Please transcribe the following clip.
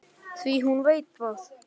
Því hún veit það.